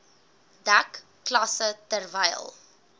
dek klasse terwyl